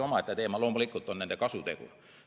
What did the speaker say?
Omaette teema loomulikult on nende deklaratsioonide kasutegur.